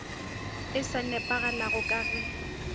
e sa nepagalago ka ge